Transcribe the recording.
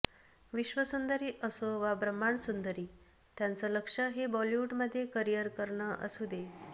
विश्वसुंदरी असो वा ब्रम्हांड सुंदरी त्यांच लक्ष्य हे बॉलिवूडमध्ये करिअर करणं असू दे